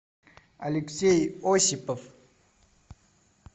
алексей осипов